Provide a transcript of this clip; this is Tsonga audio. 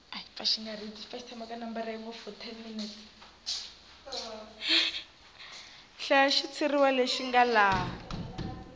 hlaya xitshuriwa lexi nga laha